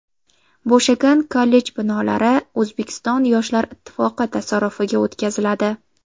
Bo‘shagan kollej binolari O‘zbekiston yoshlar ittifoqi tasarrufiga o‘tkaziladi.